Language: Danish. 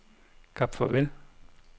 Kap Farvel